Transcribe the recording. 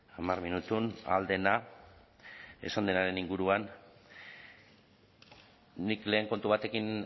hamar minutun ahal dena esan denaren inguruan nik lehen kontu batekin